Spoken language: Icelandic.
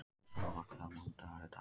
Svafar, hvaða mánaðardagur er í dag?